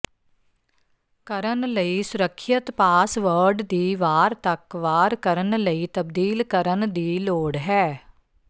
ਕਰਨ ਲਈ ਸੁਰੱਖਿਅਤ ਪਾਸਵਰਡ ਦੀ ਵਾਰ ਤੱਕ ਵਾਰ ਕਰਨ ਲਈ ਤਬਦੀਲ ਕਰਨ ਦੀ ਲੋੜ ਹੈ